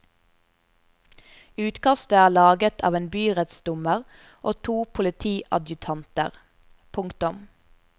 Utkastet er laget av en byrettsdommer og to politiadjutanter. punktum